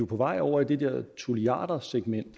på vej over i det der tulliardersegment